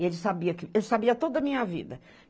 E ele sabia que, ele sabia toda a minha vida.